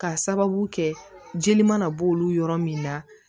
K'a sababu kɛ jeli mana bɔ olu yɔrɔ min na